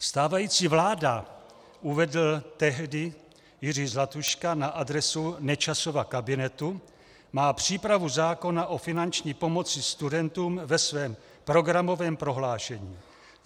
Stávající vláda, uvedl tehdy Jiří Zlatuška na adresu Nečasova kabinetu, má přípravu zákona o finanční pomoci studentům ve svém programovém prohlášení.